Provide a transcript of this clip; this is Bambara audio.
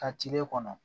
Ka tilen kɔnɔ